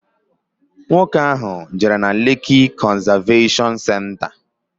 Nwoke ahu jere na Lekki Conservation Centre.